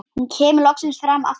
Hún kemur loks fram aftur.